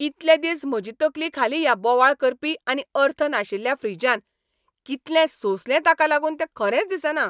इतले दिस म्हजी तकली खाली ह्या बोवाळ करपी आनी अर्थ नाशिल्ल्या फ्रिजान. कितलें सोंसलें ताका लागून तें खरेंच दिसना.